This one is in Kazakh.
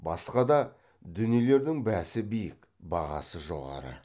басқа да дүниелердің бәсі биік бағасы жоғары